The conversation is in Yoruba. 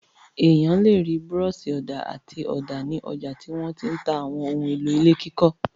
Ènìyàn le rí búrọ́ṣì-ọ̀dà àti ọ̀dà ní ọjà tí wọ́n ti ń ta àwọn ohun-èlò ilé kíkọ́.